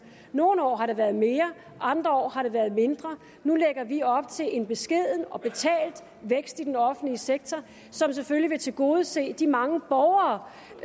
nogle år har det været mere andre år har det været mindre nu lægger vi op til en beskeden og betalt vækst i den offentlige sektor som selvfølgelig vil tilgodese de mange borgere